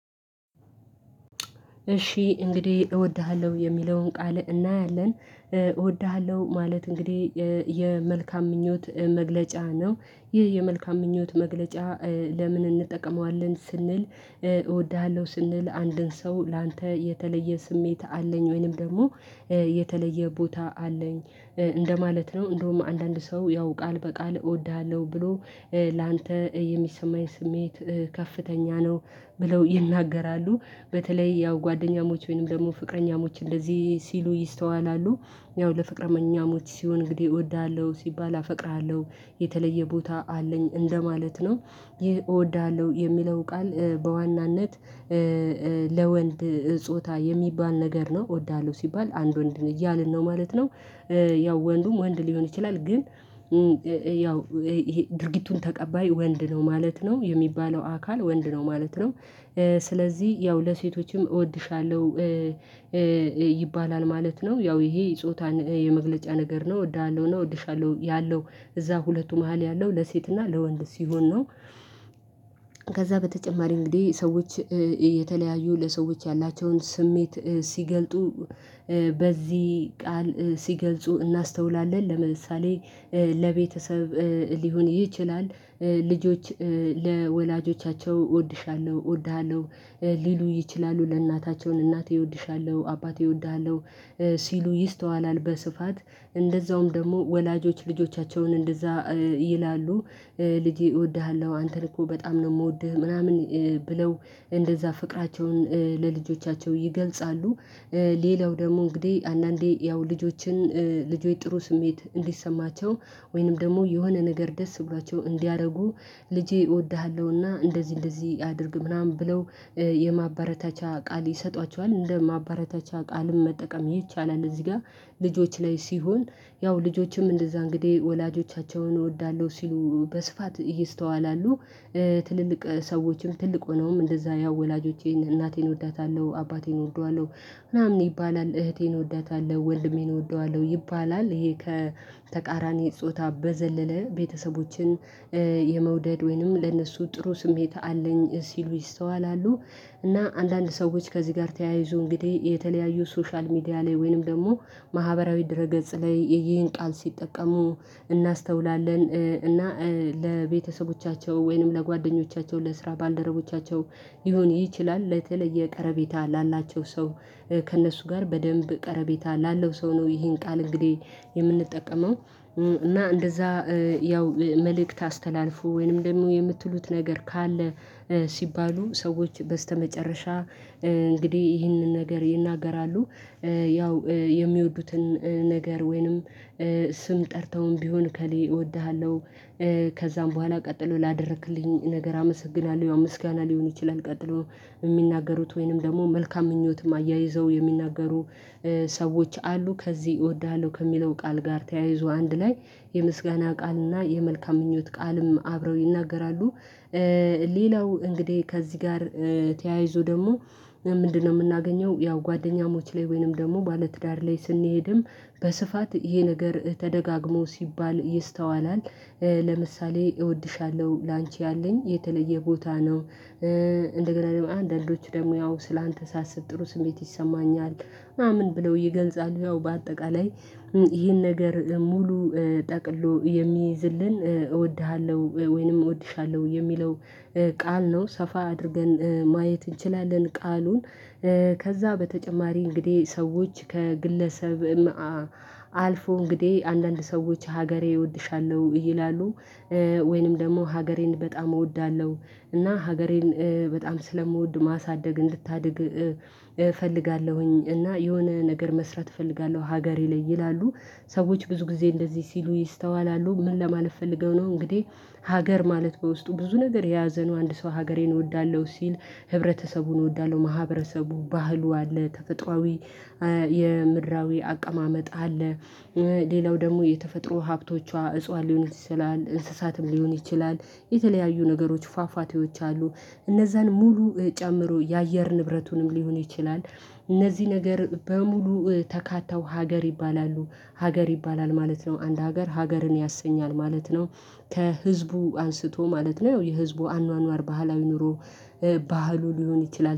እሺ እንግዲህ እወድሃለሁ የሚለውን ቃል እናያለን እወድሃለሁ ማለት እንግዲህ የመልካም ምኞት መግለጫ ነው። ይህ የመልካም ምኞት መግለጫ ለምን እንጠቀመዋለን ስንል እወድሃለሁ ስንል አንድን ሰው ላንተ የተለየ ስሜት አለኝ ወይንም ደግሞ የተለየ ቦታ አለኝ እንደማለት ነው እንደውም አንዳንድ ሰው ያው ቃል በቃል እወድሃለሁ ብሎ ላንተ የሚሰማኝ ስሜት ከፍተኛ ነው። ብለው ይናገራሉ በተለይ ያው ጓደኛሞች ወይንም ደግሞ ፍቅረኛሞች እንደዚህ ሲሉ ይስተዋላሉ። ያው ለፍቅረኛሞች ሲሆን እንግዲህ እወዳለሁ ሲባል አፈቅርሃለሁ የተለየ ቦታ አለኝ እንደማለት ነው። ይህ እወድሃለሁ የሚለው ቃል በዋናነት ለወንድ ጾታ የሚባል ነገር ነው እወዳለሁ ሲባል አንድ ወንድ እያልን ነው ማለት ነው። ያው ወንዱም ወንድ ሊሆን ይችላል ግን ያው እሄ ድርጊቱን ተቀባይ ወንድ ነው ማለት ነው የሚባለው አካል ወንድ ነው ማለት ነው። ስለዚህ ያው ለሴቶችም እወድሻለሁ ይባላል ማለት ነው። ያው ይሄ ጾታን የመግለጫ ነገር ነው እወድሃለሁ እና እወድሻለሁ ያለው እዛ ሁለቱ መሃል ያለው ለሴትና ለወንድ ሲሆን ነው። ከዛ በተጨማሪ እንግዲህ ሰዎች የተለያዩ ለሰዎች ያላቸውን ስሜት ሲገልጡ በዚህ ቃል ሲገልጹ እናስተውላለን። ለምሳሌ ለቤተሰብ ሊሆን ይችላል ልጆች ለወላጆቻቸው እወድሻለሁ እወድሃለሁ ሊሉ ይችላሉ ለእናታቸውን እናቴ እወድሻለሁ አባቴ እወድሃለሁ ሲሉ ይስተዋላል። በስፋት እንደዛውም ደግሞ ወላጆች ልጆቻቸውን እንደዛ ይላሉ ልጄ እወድሃለሁ አንተን እኮ በጣም ነው ምወድህ ምናምን ብለው እንደዛ ፍቅራቸውን ለልጆቻቸው ይገልጻሉ። ሌላው ደግሞ እንግዲህ አንዳንዴ ያው ልጆችን ልጆይ ጥሩ ስሜት እንዲሰማቸው ወይንም ደግሞ የሆነ ነገር ደስ ብሏቸው እንዲያደርጉ ልጄ እወድሃለሁ እና እንደዚህ እንደዚህ አድርግ ምናምን ብለው የማባረታቻ ቃል ይሰጧቸዋል እንደ ማበረታቻ ቃልም መጠቀም ይቻላል። እዚህ ጋር ልጆች ላይ ሲሆን ያው ልጆችም እንደዛ እንግዲህ ወላጆቻቸውን እወዳለሁ ሲሉ በስፋት ይህ ይስተዋላሉ። ትልልቅ ሰዎችም ትልቅ ሆነውም እንደዛ ያው ወላጆቼን እናቴን እወዳታለሁ አባቴን እወደዋለሁ ምናምን ይባላል እህቴን እወዳታለሁ ወንድሜን እወደዋለሁ ይባላል ይሄ ከተቃራኒ ጾታ በዘለለ ቤተሰቦችን የመውደድ ወይንም ለእነሱ ጥሩ ስሜት አለኝ ሲሉ ይስተዋላሉ። እና አንዳንድ ሰዎች ከዚህ ጋር ተያይዞ እንግዲህ የተለያዩ ሶሻል ሚዲያ ላይ ወይንም ደግሞ ማህበራዊ ድረ ገጽ ላይ ይሄን ቃል ሲጠቀሙ እናስተውላለን እና ለቤተሰቦቻቸው ወይንም ለጓደኞቻቸው ለስራ ባልደረቦቻቸው ይሁን ይችላል ለተለየ ቀረቤታ ላላቸው ሰው ከእነሱ ጋር በደንብ ቀረቤታ ላለው ሰው ነው ይሄን ቃል እንግዲህ የምንጠቀመው። እና እንደዛ ያው መልእክት አስተላልፎ ወይንም ደግሞ የምትሉት ነገር ካለ ሲባሉ ሰዎች በስተመጨረሻ እንግዲህ ይህንን ነገር ይናገራሉ። ያው የሚወዱትን ነገር ወይንም ስም ጠርተውም ቢሆን ከሌ እወድሃለሁ ከዛም በኋላ ቀጥሎ ላደረክልኝ ነገር አመሰግናለሁ ምስጋና ሊሆን ይችላል። ቀጥሎ የሚናገሩት ወይንም ደግሞ መልካም ምኞትም አያይዘው የሚናገሩ ሰዎች አሉ ከዚህ እወዳሀለሁ ከሚለው ቃል ጋር ተያይዞ አንድ ላይ የምስጋና ቃል እና የመልካም ምኞት ቃልም አብረው ይናገራሉ። ሌላው እንግዲህ ከዚህ ጋር ተያይዞ ደግሞ ምንድነው? ምናገኘው ያው ጓደኛሞች ላይ ወይንም ደግሞ ባለትዳር ላይ ስንሄድም በስፋት ይሄ ነገር ተደጋግሞ ሲባል ይስተዋላል። ለምሳሌ እወድሻለሁ ላንቺ ያለኝ የተለየ ቦታ ነው። እንደገና አንዳንዶቹ ደግሞ ያው ሰለ አንተ ሳስብ ጥሩ ስሜት ይሰማኛል ምናምን ብለው ይገልፃሉ። ያው በአጠቃላይ ይህን ነገር ሙሉ ጠቅሎ የሚይዝልን እወድሃለሁ ወይንም እወድሻለሁ የሚለው ቃል ነው ሰፋ አድርገን ማየት እንችላለን። ቃሉን ከዛ በተጨማሪ እንግዲህ ሰዎች ከግለሰብ አልፎ እንግዲህ አንዳንድ ሰዎች ሀገሬ እወድሻለሁ ይላሉ። ወይንም ደግሞ ሀገሬን በጣም እወዳለሁ እና ሀገሬን በጣም ስለምወድ ማሳደግ እንድታድግ እፈልጋለሁኝ እና የሆነ ነገር መስራት እፈልጋለሁ ሀገሬ ላይ ይላሉ። ሰዎች ብዙ ጊዜ እንደዚህ ሲሉ ይስተዋላሉ። ምን ለማለት ፈልገው ነው እንግዲህ ሀገር ማለት በውስጡ ብዙ ነገር የያዘ አንድ ሰው ሀገሬን እወዳለሁ ሲል ህብረተሰቡን እወዳለሁ ማህበረሰቡ ባህሉ አለ ተፈጥሮአዊ የምድራዊ አቀማመጥ አለ። ሌላው ደግሞ የተፈጥሮ ሀብቶቿ እጽዋት ሊሆን ይችላል እንስሳትም ሊሆን ይችላል የተለያዩ ነገሮች ፏፏቴዎች አሉ እነዛን ሙሉ ጨምሮ የአየር ንብረቱንም ሊሆን ይችላል። እነዚህ ነገር በሙሉ ተካተው ሀገር ይባላሉ። ሀገር ይባላል ማለት ነው አንድ ሀገር ሀገርን ያሰኛል ማለት ነው። ከህዝቡ አንስቶ ማለት ነው የህዝቡ አኗኗር ባህላዊ ኑሮ ባህሉ ሊሆን ይችላል